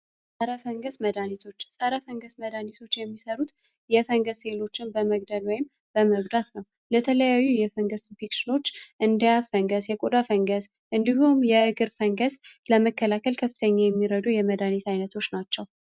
ፀረ ፈንገስ መድሀኒቶች ፀረ ፈንገስ መድሀኒቶች የሚሰሩት የፈንገስ ሴሎችን በመግደል ወይም በመጉዳት ነው። ለተለያዩ የፈንገስ ኢንፌክሽኖች እንደ የአፍ ፈንገስ፣ የቆዳ ፈንገስ እንዲሁም የእግር ፈንገስ ለመከላከል ከፍተኛ የሚረዱ የመድኃኒት አይነቶች ናቸው።